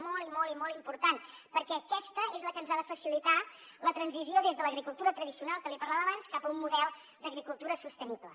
molt i molt i molt important perquè aquesta és la que ens ha de facilitar la transició des de l’agricultura tradicional que li parlava abans cap a un model d’agricultura sostenible